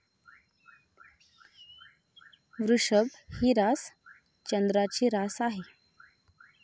वृषभ ही रास चंद्राची रास आहे.